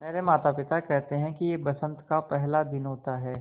मेरे माता पिता केहेते है कि यह बसंत का पेहला दिन होता हैँ